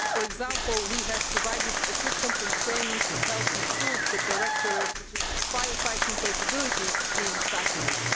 For example, we have provided equipment and training to help improve the directorate's fire fighting capabilities in factories.